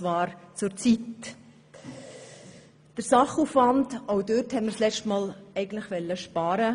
Auch beim Sachaufwand wollten wir letztes Mal sparen.